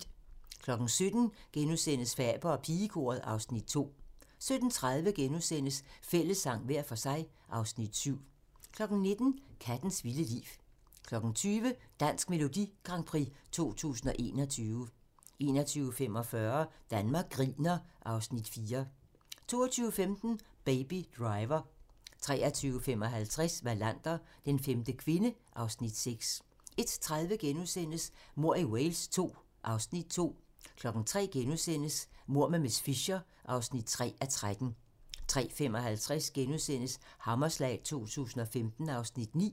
17:00: Faber og pigekoret (Afs. 2)* 17:30: Fællessang - hver for sig (Afs. 7)* 19:00: Kattens vilde liv 20:00: Dansk Melodi Grand Prix 2021 21:45: Danmark griner (Afs. 4) 22:15: Baby Driver 23:55: Wallander: Den femte kvinde (Afs. 6) 01:30: Mord i Wales II (Afs. 2)* 03:00: Mord med miss Fisher (3:13)* 03:55: Hammerslag 2015 (Afs. 9)*